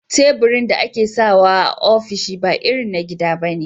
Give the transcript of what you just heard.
Labirin da akesawa ofishi ba irin na gida bane